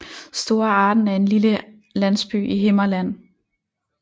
Store Arden er en lille landsby i Himmerland